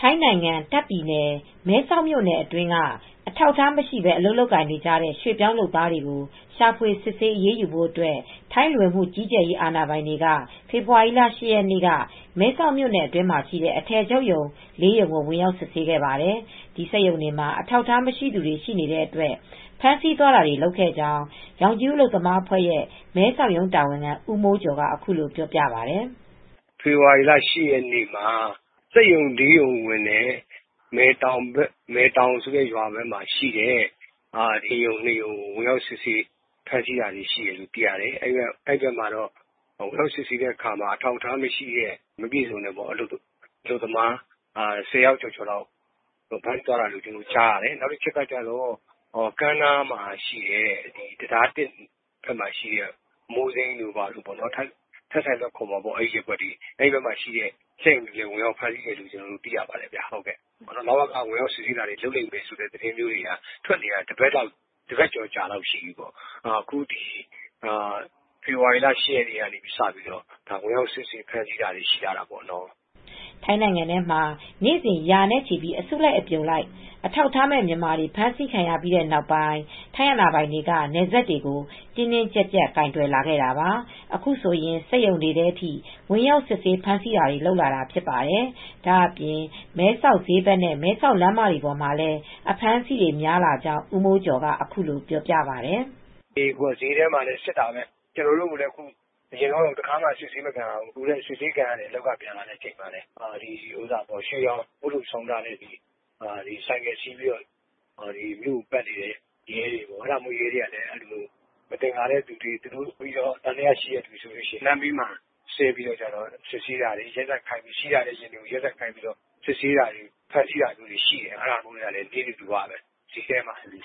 ထိုင်းနိုင်ငံ တာ့ခ်ပြည်နယ် မဲဆောက်မြိုနယ် အတွင်းက အထောက်အထားမရှိဘဲ အလုပ်လုပ်နေတဲ့ ရွှေ့ပြောင်းလုပ်သားတွေ ရှာဖွေစစ်ဆေးအရေးယူဖို့အတွက် ထိုင်းလူဝင်မှုကြီးကြပ်ရေး အာဏာပိုင်တွေ ဖေဖေါ်ဝါရီလ ရက်နေ့က မဲဆောက်မြိုနယ် အတွင်းမှာရှိတဲ့ အထည်ချုပ်ရုံ ရုံ ကို ဝင်ရောက်စစ်ဆေးခဲ့ပါတယ်။ အဲဒီစက်ရုံတွေမှာ အထောက်အထား မရှိသူတွေ ရှိနေတဲ့အတွက် ဖမ်းဆီးသွားတာတွေ လုပ်ခဲ့ကြောင်း ရောင်ခြည်ဦး အလုပ်သမားအဖွဲ့ရဲ့မဲဆောက်ရုံး တာဝန်ခံဦးမိုးကျော် က အခုလိုပြောပါတယ်။ " ဖေဖော်ဝါရီလ ၈ ရက်နေ့က စက်ရုံ ၄ရုံဝင်တယ်။ မယ်တောင်ဆိုတဲ့ ရွာဘက်မှာရှိတဲ့ စက်ရုံ ၂ရုံကိုဝင်ရောက်ပြီး ဖမ်းဆီးတာတွေရှိတယ်။အဲဒီဘက်မှာ ဝင်ရောက်စစ်ဆေးရာမှာ အထောက်အထားမရှိတဲ့ မပြည့်စုံတဲ့ အလုပ်သမား၁ဝယောက်ကျော်ကို ဖမ်းဆီးသွားတာရှိတယ်။ နောက်တချက်က ကမ်းနားမှာ တံတား နားမှာရှိတဲ့ အမိုးစိမ်းရုံတွေရှိတဲ့ နေရာတွေကို ထဆိုင်လုဝပ်နေရာတွေမှာလည်း ဝင်ရောက်စစ်ဆေးဖမ်းဆီးတာတွေရှိတယ်လို့သိရပါတယ် ။ လဝက ဝင်ရောက်စစ်ဆေးတာတွေ လုပ်လိမ့်မယ်ဆိုတဲ့ သတင်းတွေ ကြားတာ သတင်းထွက်နေတာ တပတ်ကျော်လောက်တော့ရှိပြီ အခုဖေဖေါ်ဝါရီလ ၈ရက်နေ့ကစပြီး စစ်ဆေးဖမ်းဆီးတာတွေရှိလာတာပေါ့နော် " ထိုင်းနိုင်ငံထဲမှာ နေ့စဉ်ရာနဲ့ချီပြီး အစုလိုက်အပြုံလိုက် အထောက်အထားမဲ့ မြန်မာတွေ ဖမ်းဆီးခံရပြီးတဲ့နောက် ထိုင်းအာဏာပိုင်တွေက နယ်စပ်တွေကို တင်းတင်းကြပ်ကြပ် ကိုင်တွယ်လာတာပါ။ အခုဆိုရင် စက်ရုံတွေထဲထိ ဝင်ရောက်စစ်ဆေးဖမ်းဆီးတာတွေ လုပ်လာတာဖြစ်ပါတယ်။ ဒါအပြင် မဲဆောက်ဈေးဘက် နဲ့ မဲဆောက်လမ်းမတွေပေါ်မှာလည်း အဖမ်းအဆီးတွေများလာကြောင်း ဦးမိုးကျော်ကအခုလိုပြောပါတယ်။ " ဈေးထဲမှာလည်း စစ်နေတာပဲ ကျနော်တို့လည်း အရင်က တခါမှ စစ်ဆေးမခံရဘူး ။ အခုတော့ အလုပ်က ပြန်လာချိန် စစ်ဆေးတာခံရတယ်။ ရွှေရောင်ဦးထုတ်ဆောင်းထားတဲ့ ဆိုင်ကယ်စီးပြီး မြို့ကိုပတ်နေတဲ့ ရဲတွေက မသင်္ကာရင် သံသယရှိတဲ့သူတွေ့ရင် လမ်းမှာစစ်ဆေးတာတွေရှိတယ်။လမ်းဘေးမှာ ယာဉ်တွေကိုရပ်ခိုင်းပြီး စစ်ဆေးတာတွေ ဖမ်းဆီးတာတွေရှိနေတယ် ။အဲဒါနိစ္စဓူဝလိုဖြစ်နေပြီ။ ဈေးထဲမှာပေါ့။